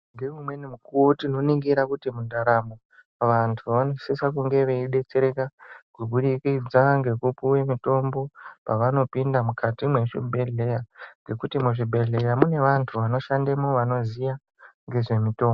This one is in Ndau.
Ngeumweni mukuwo tinongura kuti mundaramo vantu vanosisa kunge veidetsereka kuburikidza ngekupuwa mutombo pavanooinda mukati mezvibhedhlera ngekuti muzvibhedhlera mune vantu vanoshandamo vanoziva nezvemitombo.